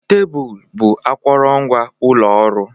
Tebụl bụ akụrụngwa ụlọ ọrụ